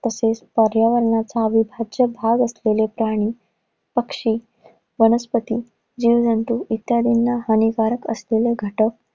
तसेच पर्यावरणाचं विभाज्य भाग असलेले प्राणी, पक्षी, वनस्पती, जीवजंतू इत्यादींना हानिकारक असलेले घटक